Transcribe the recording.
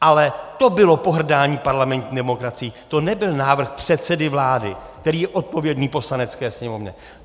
Ale to bylo pohrdání parlamentní demokracií, to nebyl návrh předsedy vlády, který je odpovědný Poslanecké sněmovně.